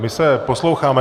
My se posloucháme.